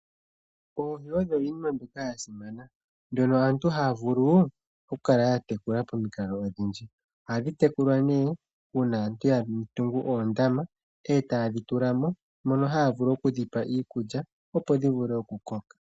Oohi odho iinima mbyoka yasimana, dhono aantu haya vulu okukala yatekula pomikalo odhindji. Ohadhi tekulwa nee uuna aantu yatungu oondama, e taye dhi tulamo, mono haya vulu okudhipa iikulya, opo dhivule okukoka.